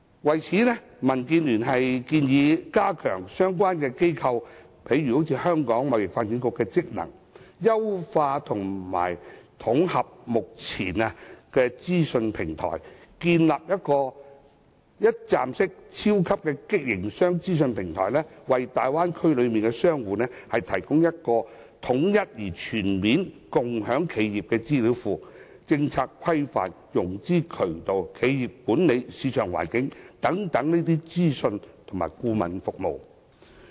就此，民建聯建議加強相關貿易機構，例如香港貿易發展局的職能，優化及統合目前的資訊平台，建立一站式超級營商資訊平台，為大灣區內的商戶提供統一而全面的共享企業資料庫，提供政策規範、融資渠道、企業管理、市場環境等資訊及顧問服務。